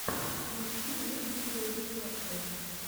включи мне видеорецепты